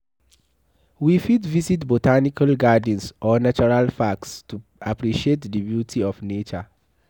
We fit visit botanical gardens or natural packs to appreciate di beauty of nature